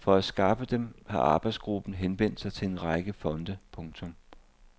For at skaffe dem har arbejdsgruppen henvendt sig til en række fonde. punktum